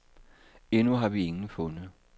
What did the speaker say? Endnu har vi ingen fundet.